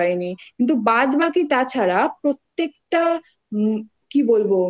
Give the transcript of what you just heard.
ছিল এতো কুয়াশা ছিল যে আমরা একদম কিছু দেখতে